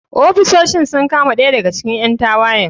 Ofisoshin sun kama ɗaya daga cikin ƴan tawayen.